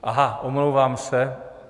Aha, omlouvám se.